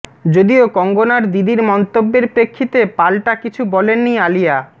যদিও কঙ্গনার দিদির মন্তব্যের প্রেক্ষিতে পালটা কিছু বলেননি আলিয়া